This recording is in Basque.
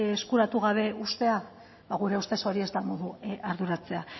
eskuratu gabe uztea ba gure ustez hori ez da modu arduratsua